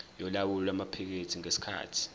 yolawulo lwamaphikethi ngesikhathi